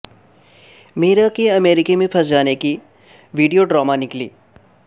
میرا کی امریکہ میں پھنس جانے کی ویڈیو ڈرامہ نکلی